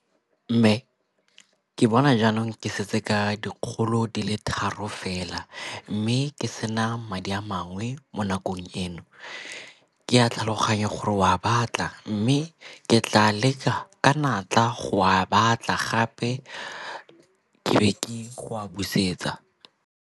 Mme, ke bona jaanong ke setse ka dikgolo di le tharo fela mme ke sena madi a mangwe mo nakong eno. Ke a tlhaloganya gore o a a batla mme ke tla leka ka natla go a batla gape ke be ke go a busetsa.